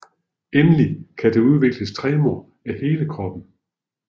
Endelig kan der udvikles tremor af hele kroppen